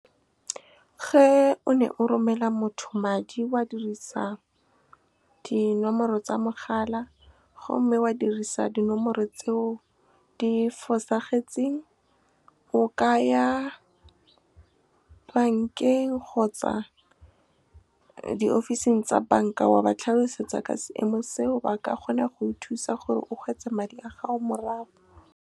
Ge o ne o romela motho madi o a dirisa dinomoro tsa mogala, gomme o dirisa dinomoro tseo di fosagetseng, o ka ya bankeng kgotsa di ofising tsa banka, wa ba tlhalosetsa ka seemo seo. Ba ka kgona go thusa gore o kgone go hwetše madi a gago morago. Ge o ne o romela motho madi o a dirisa dinomoro tsa mogala, gomme o dirisa dinomoro tseo di fosagetseng, o ka ya bankeng kgotsa di ofising tsa banka, wa ba tlhalosetsa ka seemo seo. Ba ka kgona go thusa gore o kgone go hwetše madi a gago morago.